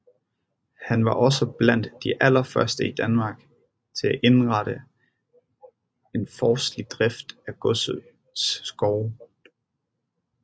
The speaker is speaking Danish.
Han var også blandt de allerførste i Danmark til at indrette en forstlig drift af godsets skove